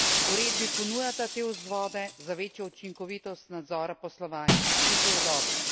Uredbi ponujata te vzvode za večjo učinkovitost nadzora poslovanja, in to je dobro.